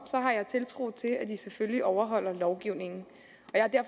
har jeg tiltro til at de selvfølgelig overholder lovgivningen